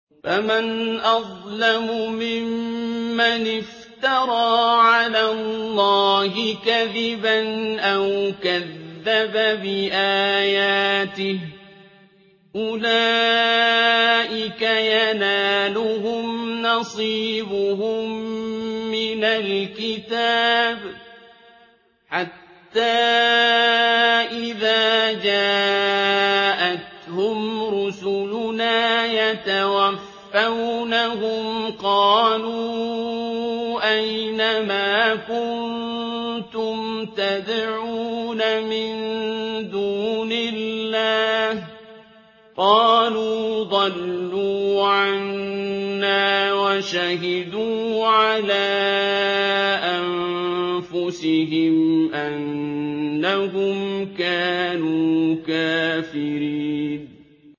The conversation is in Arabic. فَمَنْ أَظْلَمُ مِمَّنِ افْتَرَىٰ عَلَى اللَّهِ كَذِبًا أَوْ كَذَّبَ بِآيَاتِهِ ۚ أُولَٰئِكَ يَنَالُهُمْ نَصِيبُهُم مِّنَ الْكِتَابِ ۖ حَتَّىٰ إِذَا جَاءَتْهُمْ رُسُلُنَا يَتَوَفَّوْنَهُمْ قَالُوا أَيْنَ مَا كُنتُمْ تَدْعُونَ مِن دُونِ اللَّهِ ۖ قَالُوا ضَلُّوا عَنَّا وَشَهِدُوا عَلَىٰ أَنفُسِهِمْ أَنَّهُمْ كَانُوا كَافِرِينَ